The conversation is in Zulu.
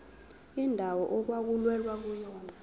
indawo okwakulwelwa kuyona